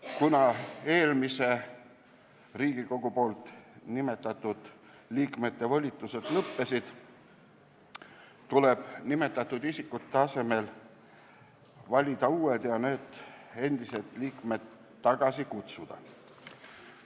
Kuna eelmise Riigikogu nimetatud liikmete volitused on lõppenud, tuleb nimetatud isikute asemel valida uued liikmed ja endised liikmed tagasi kutsuda.